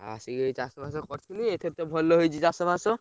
ଆଉ ଆସିକି ଏବେ ଚାଷ ଫାଶ କରିଥିଲି, ଏଇଥର ତ ଭଲ ହେଇଛି ଚାଷ ବାସ।